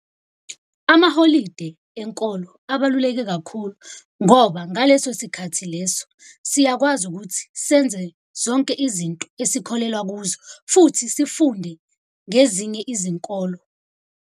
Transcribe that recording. Amaholide enkolo abaluleke kakhulu ngoba ngaleso sikhathi leso siyakwazi ukuthi senze zonke izinto esikholelwa kuzo, futhi sifunde ngezinye izinkolo.